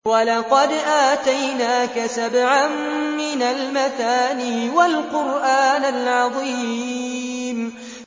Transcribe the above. وَلَقَدْ آتَيْنَاكَ سَبْعًا مِّنَ الْمَثَانِي وَالْقُرْآنَ الْعَظِيمَ